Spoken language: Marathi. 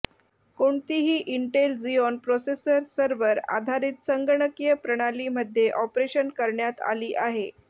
कोणतीही इंटेल झिऑन प्रोसेसर सर्व्हर आधारित संगणकीय प्रणाली मध्ये ऑपरेशन करण्यात आली आहे